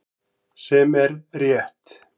Sem er rétt.